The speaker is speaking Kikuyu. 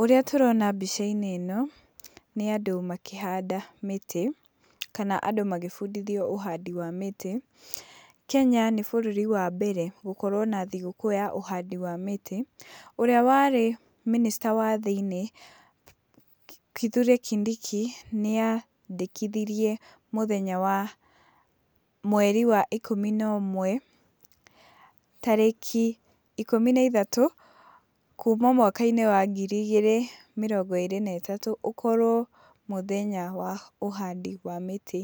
Ũrĩa tũrona mbica-inĩ ĩno nĩ andũ makĩhanda mĩtĩ kana andũ magĩbundithio ũhandi wa mĩtĩ. Kenya nĩ bũrũri wa mbere gũkorwo na thigũkũ ya ũhandi wa mĩtĩ. Ũrĩa warĩ mĩnĩcita wa thĩiniĩ, Kithure Kindiki, nĩandĩkithirie mũthenya wa mweri wa ikũmi na ũmwe, tarĩki ikũmi na ithatũ, kuma mwaka-inĩ wa ngiri igĩrĩ mĩrongo ĩrĩ na ĩtatũ, ũkorwo mũthenya wa ũhandi wa mĩtĩ